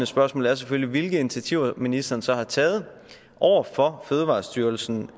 spørgsmål er selvfølgelig hvilke initiativer ministeren så har taget over for fødevarestyrelsen